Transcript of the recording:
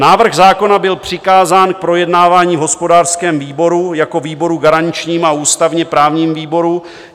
Návrh zákona byl přikázán k projednávání v hospodářském výboru jako výboru garančnímu a ústavně-právnímu výboru.